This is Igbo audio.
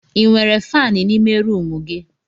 Ị nwere faani n'ime rumụ gị?